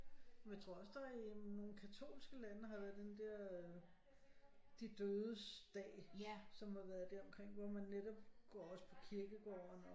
Jeg tror også der i nogle katolske lande har været den der øh de dødes dag som har været der omkring hvor man netop går også på kirkegården